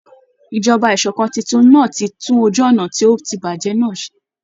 Ìjọba ìṣòkan titun náà ti tún ojú ọnà tí ó ti bàjẹ́ nà ṣé.